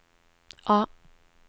A